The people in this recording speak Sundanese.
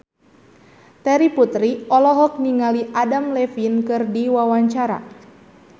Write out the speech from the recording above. Terry Putri olohok ningali Adam Levine keur diwawancara